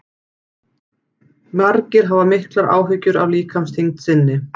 margir hafa miklar áhyggjur af líkamsþyngd sinni